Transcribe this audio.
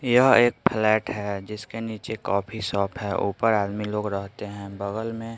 यह एक फ्लैट है जिसके नीचे कॉफी शॉप है ऊपर आदमी लोग रहते हैं बगल में --